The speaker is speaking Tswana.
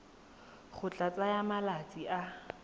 go tla tsaya malatsi a